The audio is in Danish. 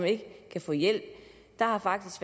ikke kan få hjælp der har faktisk